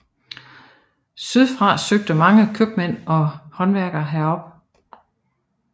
Syd fra søgte mange købmænd og håndværkere derop